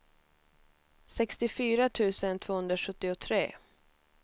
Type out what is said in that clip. sextiofyra tusen tvåhundrasjuttiotre